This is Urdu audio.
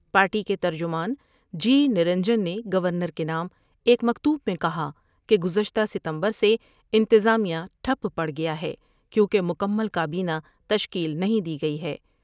پارٹی کے ترجمان جی نرنجن نے گورنر کے نام ایک مکتوب میں کہا کہ گزشتہ ستمبر سے انتظامیہ ٹھپ پڑ گیا ہے کیوں کہ مکمل کا بینہ تشکیل نہیں دی گئی ہے ۔